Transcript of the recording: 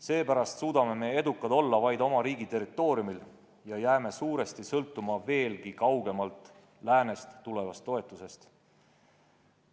Seepärast suudame edukad olla vaid oma riigi territooriumil ja jääme suuresti sõltuma veelgi kaugemalt läänest tulevast toetusest.